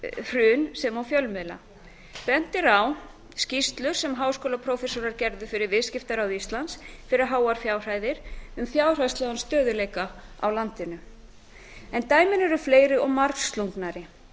hrun sem og fjölmiðla bent er á skýrslur sem háskólaprófessorar gerðu fyrir viðskiptaráð íslands fyrir háar fjárhæðir um fjárhagslegan stöðugleika á landinu en dæmin eru fleiri og margslungnari